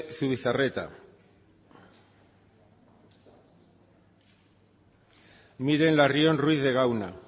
zubizarreta sartu da miren larrion ruiz de gauna